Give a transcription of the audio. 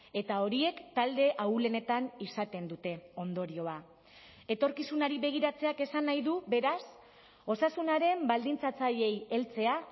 eta horiek talde ahulenetan izaten dute ondorioa etorkizunari begiratzeak esan nahi du beraz osasunaren baldintzatzaileei heltzea